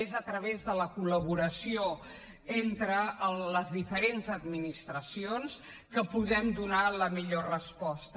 és a través de la col·laboració entre les diferents administracions que podem donar la millor resposta